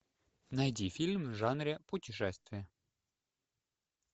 найди фильм в жанре путешествия